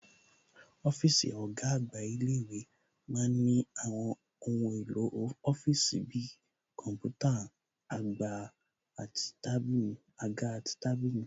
Ọ́físì ọ̀gá àgbà ilé-ìwé ma ń ní àwọn ohun èlò ọ́fíìsì bi kọ̀ḿpútà, àga àti tábìlì